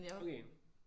Okay